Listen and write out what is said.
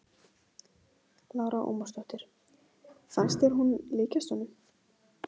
Lára Ómarsdóttir: Fannst þér hún líkjast honum?